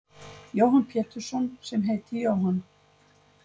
Jóhann Pétursson sem heiti Jóhann.